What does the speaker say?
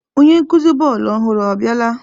Onye nkuzi bọọlụ ọhụrụ abiala?